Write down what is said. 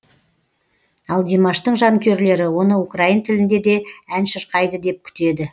ал димаштың жанкүйерлері оны украин тілінде де ән шырқайды деп күтеді